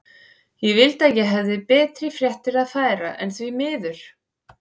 Ég vildi að ég hefði betri fréttir að færa, en því miður.